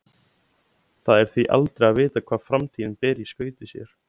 Það er því aldrei að vita hvað framtíðin ber í skauti sér.